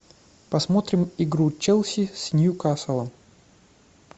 посмотрим игру челси с ньюкаслом